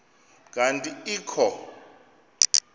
kanti ee kho